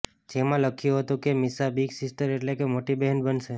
જેમાં લખ્યુ હતુ કે મિશા બિગ સિસ્ટર એટલે કે મોટી બહેન બનશે